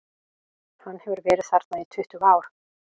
Hann hefur verið þarna í tuttugu ár.